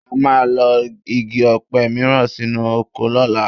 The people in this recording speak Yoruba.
A máa lọ́ igi ọ̀pẹ mìíràn sínú oko lọ́la